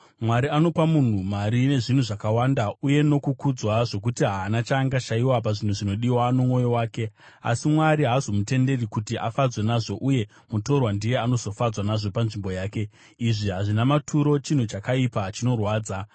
Mwari anopa munhu mari nezvinhu zvakawanda uye nokukudzwa, zvokuti haana chaangashayiwa pazvinhu zvinodiwa nomwoyo wake, asi Mwari haazomutenderi kuti afadzwe nazvo, uye mutorwa ndiye anozofadzwa nazvo panzvimbo yake. Izvi hazvina maturo, chinhu chakaipa chinorwadza.